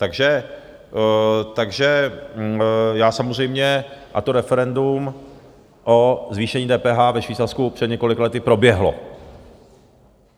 Takže já samozřejmě - a to referendum o zvýšení DPH ve Švýcarsku před několika lety proběhlo.